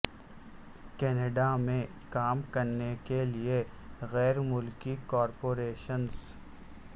Canada میں کام کرنے کے لئے غیر ملکی کارپوریشنز